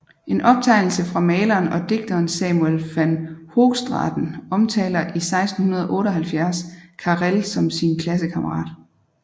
En optegnelse fra maleren og digteren Samuel van Hoogstraten omtaler i 1678 Carel som sin klassekammerat